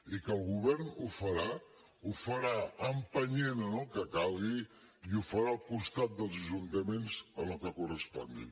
i que el govern ho farà ho farà empenyent en el que calgui i ho farà al costat dels ajuntaments en el que correspongui